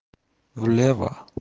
влево